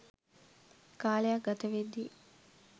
කාලයක් ගත වෙද්දී